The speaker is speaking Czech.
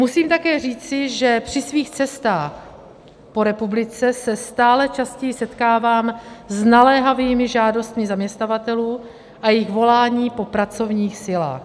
Musím také říci, že při svých cestách po republice se stále častěji setkávám s naléhavými žádostmi zaměstnavatelů a jejich voláním po pracovních silách.